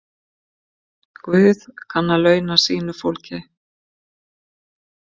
Guð kann að launa sínu fólki.